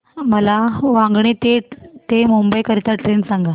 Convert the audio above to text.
मला वांगणी ते मुंबई करीता ट्रेन सांगा